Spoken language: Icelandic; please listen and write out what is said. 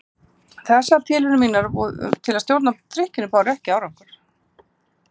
Þessar tilraunir mínar til að stjórna drykkjunni báru ekki árangur.